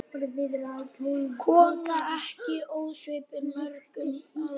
Kona ekki ósvipuð mörgum öðrum.